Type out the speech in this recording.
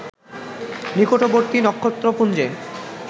নিকটবর্তী নক্ষত্রপুঞ্জে